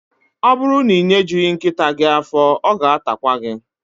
Ọ bụrụ na ị nyejughi nkịta gị afọ, ọ ga-atakwa gị